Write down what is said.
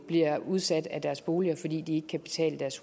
bliver udsat af deres boliger fordi de ikke kan betale deres